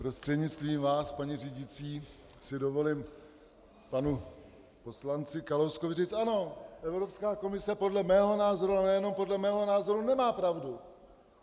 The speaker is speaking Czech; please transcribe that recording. Prostřednictvím vás, paní řídící, si dovolím panu poslanci Kalouskovi říct: Ano, Evropská komise podle mého názoru, ale nejenom podle mého názoru, nemá pravdu!